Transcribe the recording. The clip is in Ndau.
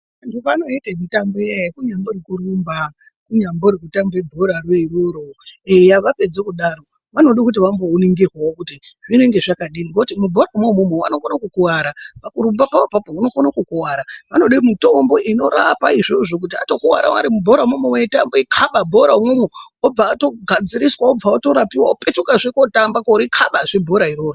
Vantu vanoite mitambo iyaiya kunyambori kurumba kunyambori kutamba bhora roiroro eya vapedze kudaro vanode kuti vamboningirwavo kuti zvinenge zvakadini. Nekuti mubhora imona imomo vanokona kukuvara pakurumba papapo unokona kukuvara. Vanode mitombo inorapa izvozvo kuti vatokuvara vari mubhora momomo veitambe veikabe bhora mwomwomwo vobva vatogadziriswa vobva vatorapiva vopetukazve kotamba korikabazve bhora iroro.